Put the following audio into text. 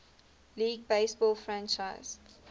league baseball franchise